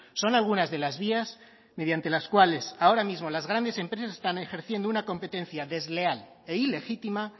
son algunas de las vías mediante las cuales ahora mismo las grandes empresas están ejerciendo una competencia desleal e ilegítima